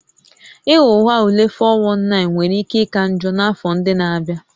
Ịghọ aghụghọ ule (419) nwere ike ịka njọ n'afọ ndị na-abịa